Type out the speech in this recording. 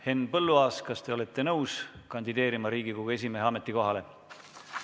Henn Põlluaas, kas te olete nõus kandideerima Riigikogu esimehe ametikohale?